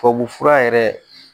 Tubabufura yɛrɛ